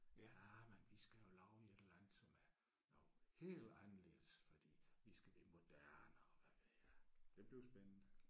Ja men vi skal jo lave et eller andet som er noget helt anderledes fordi vi skal det moderne og hvad ved jeg det bliver spændende